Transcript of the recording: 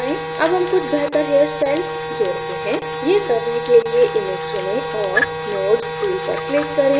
add hair कुछ hairस्टाइल जोड़ते हैं यह करने के लिए image चुनें और nodes tool पर click करें